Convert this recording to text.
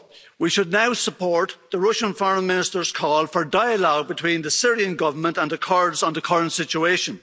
We should now support the Russian Foreign Minister's call for dialogue between the Syrian Government and the Kurds on the current situation.